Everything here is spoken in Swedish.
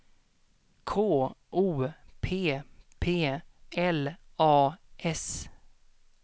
K O P P L A S